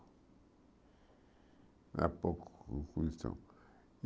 Era pouca produção.